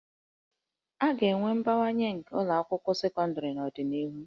A ga-enwe mbawanye nke ụlọ akwụkwọ sekọndịrị n'ọdịnihu